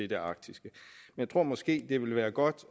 det arktiske jeg tror måske det ville være godt